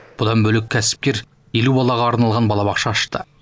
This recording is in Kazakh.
бұдан бөлек кәсіпкер елу балаға арналған балабақша ашты